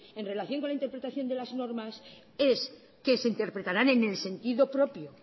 en relación con la interpretación de las normas es que se interpretarán en el sentido propio